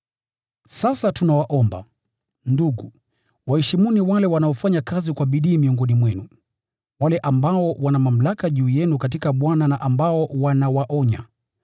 Sasa tunawaomba, ndugu, waheshimuni wale wanaofanya kazi kwa bidii miongoni mwenu, wale ambao wana mamlaka juu yenu katika Bwana na ambao wanawaonya.